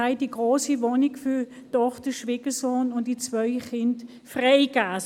Die grosse Wohnung haben wir der Tochter, dem Schwiegersohn und ihren beiden Kindern übergeben.